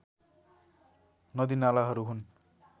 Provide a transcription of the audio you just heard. नदीनालाहरू हुन्